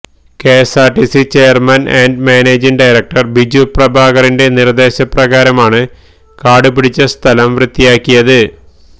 KSRTC chairman and managing director ബിജുപ്രഭാകറിന്റെ നിര്ദ്ദേശപ്രകാരമാണ് കാടു പിടിച്ച സ്ഥലം വൃത്തിയാക്കിയത്